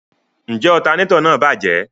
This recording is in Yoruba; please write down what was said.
Njẹ alternator náà bajẹ?